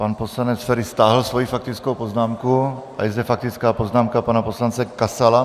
Pan poslanec Feri stáhl svoji faktickou poznámku a je zde faktická poznámka pana poslance Kasala.